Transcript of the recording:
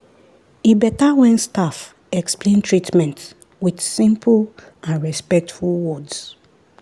e better when staff explain treatment with simple and respectful words.